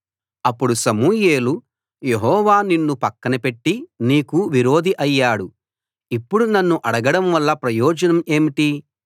అప్పుడు సమూయేలు యెహోవా నిన్ను పక్కన పెట్టి నీకు విరోధి అయ్యాడు ఇప్పుడు నన్ను అడగడం వల్ల ప్రయోజనం ఏంటి